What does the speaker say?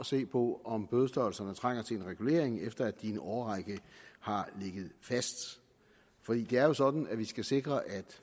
se på om bødestørrelserne trænger til en regulering efter at i en årrække har ligget fast det er jo sådan at vi skal sikre at